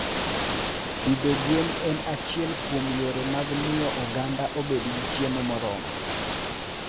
Pidho gwen en achiel kuom yore mag miyo oganda obed gi chiemo moromo.